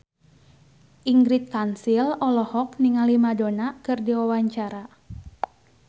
Ingrid Kansil olohok ningali Madonna keur diwawancara